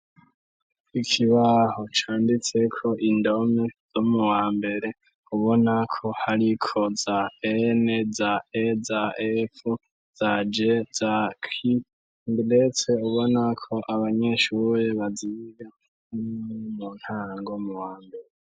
Ikibaho canditse ko indom zo mu wambere ubona ko hari ko za n za e za f za j za q uretseko abanyeshuruye baziga ne mu ntango mu wambere.